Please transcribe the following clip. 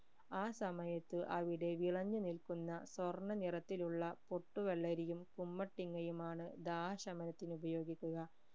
ആ സമയത്ത് അവിടെ വിളഞ്ഞു നിൽക്കുന്ന സ്വർണ്ണ നിറത്തിലുള്ള പൊട്ടു വെള്ളരിയും കുമ്മട്ടിങ്ങയുമാണ് ദാഹശമനത്തിന് ഉപയോഗിക്കുക